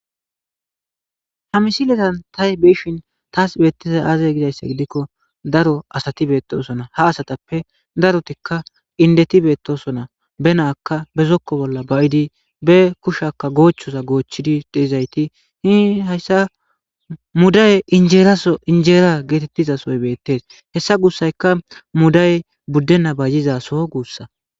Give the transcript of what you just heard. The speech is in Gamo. hamisiletan tahy biishin taas beettiza aazay gidayssa gidikko daro asati beettosona ha asatappe darotikka indeti beettosona be naaka bezokko bolla bayidi be kushakka goochchoza goochchidi deizayti hi hayssa muday injeeraso injeera geetettizasoy beettes hessa guussayka muday buddenna bayizaso guussa